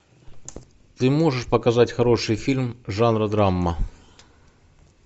ты можешь показать хороший фильм жанра драма